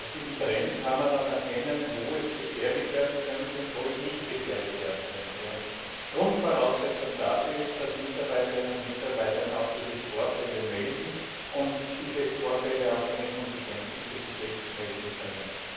An diesem Trend kann man dann erkennen, wo es gefährlich werden könnte und wo es nicht gefährlich werden könnte. Grundvoraussetzung dafür ist, dass Mitarbeiterinnen und Mitarbeiter diese Vorfälle auch melden und diese Vorfälle auch ohne Konsequenzen für sich selbst melden können.